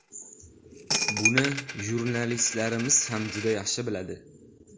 Buni jurnalistlarimiz ham juda yaxshi biladi.